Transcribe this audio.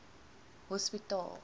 hospitaal